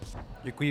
Děkuji.